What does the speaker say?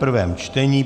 prvé čtení